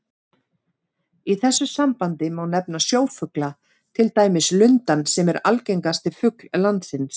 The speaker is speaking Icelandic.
Í þessu sambandi má nefna sjófugla, til dæmis lundann sem er algengasti fugl landsins.